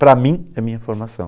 Para mim, é a minha formação.